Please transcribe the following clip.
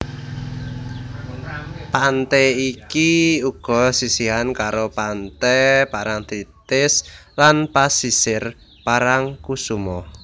Pante iki uga sisihan karo Pante Parangtritis lan Pasisir Parangkusumo